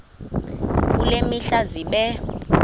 kule mihla zibe